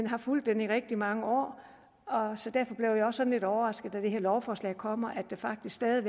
har fulgt den i rigtig mange år så derfor blev jeg også lidt overrasket da det her lovforslag kom over at der faktisk stadig